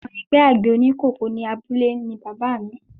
Ọmọ ẹgbẹ́ àgbẹ̀ oníkòkó ní abúlé ni bàbáà mi.